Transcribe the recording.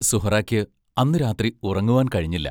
സുഹ്റായ്ക്ക് അന്നു രാത്രി ഉറങ്ങുവാൻ കഴിഞ്ഞില്ല.